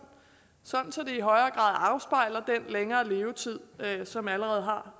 så den i højere grad afspejler den længere levetid som allerede har